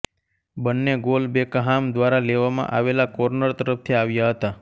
બંને goal Beckham દ્વારા લેવામાં આવેલા કોર્નર તરફથી આવ્યા હતા